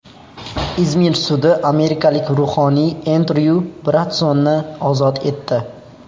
Izmir sudi amerikalik ruhoniy Endryu Bransonni ozod etdi.